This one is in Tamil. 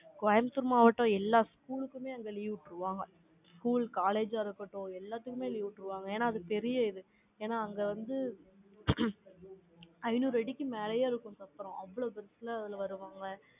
கோயம்புத்தூர் மாவட்டம், எல்லா school க்குமே அங்க leave விட்டுருவாங்க. school college ஆ இருக்கட்டும், எல்லாத்துக்குமே leave விட்டுருவாங்க. ஏன்னா, அது பெரிய இது. ஏன்னா, அங்க வந்து, ஐநூறு அடிக்கு மேலயே இருக்கும், அப்புறம் வருவாங்க.